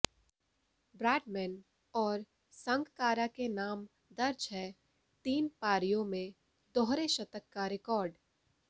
Bradman और संगकारा के नाम दर्ज है तीन पारियों में दोहरे शतक का रिकॉर्ड